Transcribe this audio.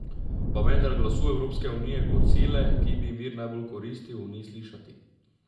Pa vendar glasu Evropske unije kot sile, ki bi ji mir najbolj koristil, ni slišati.